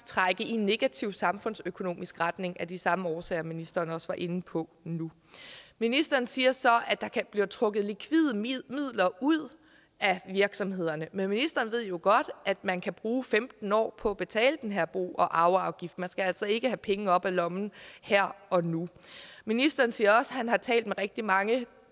trække i en negativ samfundsøkonomisk retning af de samme årsager som ministeren også var inde på nu ministeren siger så at der bliver trukket likvide midler ud af virksomhederne men ministeren ved jo godt at man kan bruge femten år på at betale den her bo og arveafgift man skal altså ikke have penge op af lommen her og nu ministeren siger også at han har talt med rigtig mange